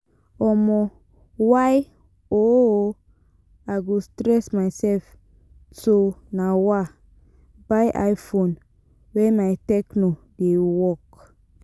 um Why um I go stress myself to um by i-phone wen my techno dey work?